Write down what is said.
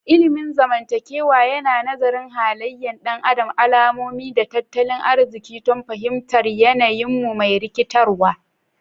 Ilimin zamantakewa yana nazarin halayen ɗan adam, al'ummomi, da tattalin arziki don fahimtar yanayin mu mai rikitarwa.